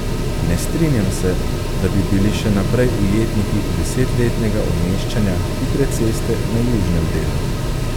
Ne strinjam se, da bi bili še naprej ujetniki deset letnega umeščanja hitre ceste na južnem delu.